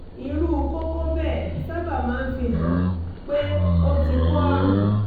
irú kókó bẹ́ẹ̀ sábà máa ń fihàn pé o ti kó àrùn